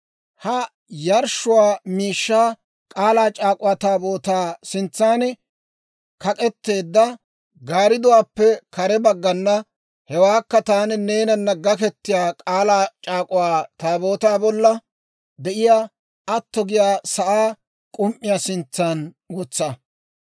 Ha yarshshiyaa miishshaa K'aalaa C'aak'uwaa Taabootaa sintsan kak'etteedda gaaridduwaappe kare baggana, hewaakka taani neenana gaketiyaa K'aalaa C'aak'uwaa Taabootaa bolla de'iyaa atto giyaa sa'aa k'um"iyaa sintsan wotsa.